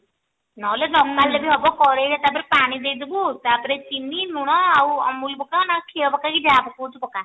ନହେଲେ ନକାଢିଲେ ବି ହେବ କଢେଇ ରେ ତା ପରେ ପାଣି ଦେଇଦେବୁ ତା ପରେ ଚିନି ଲୁଣ ଆଉ amul ପକା ନହେଲ କ୍ଷୀର ପକା କି ଯାହା ପକୋଉଛୁ ପକା